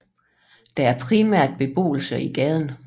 Der er primært beboelse i gaden